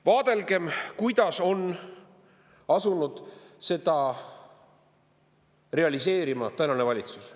Vaadelgem, kuidas on asunud seda realiseerima tänane valitsus.